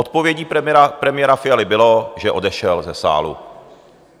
Odpovědí premiéra Fialy bylo, že odešel ze sálu.